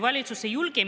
Palun!